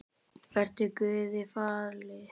Vertu Guði falin.